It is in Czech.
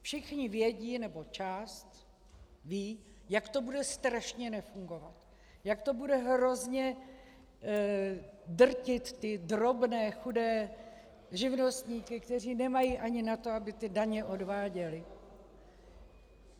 Všichni vědí - nebo část ví, jak to bude strašně nefungovat, jak to bude hrozně drtit ty drobné chudé živnostníky, kteří nemají ani na to, aby ty daně odváděli.